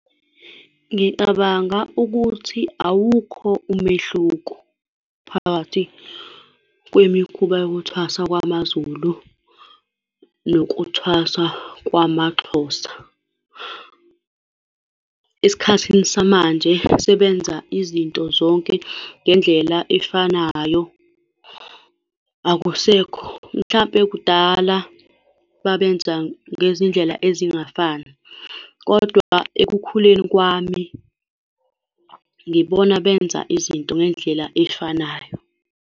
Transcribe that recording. Ngicabanga ukuthi awukho umehluko phakathi kwemikhuba yokuthwasa kwamaZulu nokuthwasa kwamaXhosa. Esikhathini samanje sebenza izinto zonke ngendlela efanayo. Akusekho, mhlampe kudala babenza ngezindlela ezingafani, kodwa ekukhuleni kwami ngibona benza izinto ngendlela efanayo.